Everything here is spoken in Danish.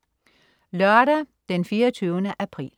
Lørdag den 24. april